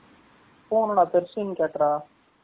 பூனை டா pursian cat டா